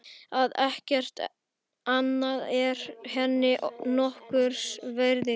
Að ekkert annað væri henni nokkurs virði.